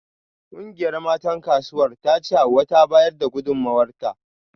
Kungiyar matan Kasuwar tace Hauwa ta bayar da gudunmawarta